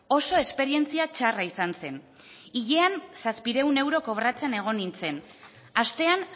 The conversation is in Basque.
oso esperientzia txarra izan zen hilean zazpiehun euro kobratzen egon nintzen astean